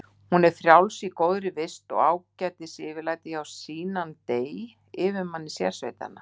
Hún er frjáls í góðri vist og ágætu yfirlæti hjá Sinan dey, yfirmanni sérsveitanna.